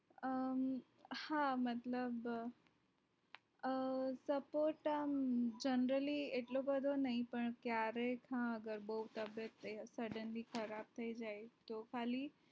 અમ હા મતલબ અ suppose generally એટલો બધો નહિ પણ કયારેક હા અગર બોવ તબિયત suddenly ખરાબ થઈ જાય તો ખાલી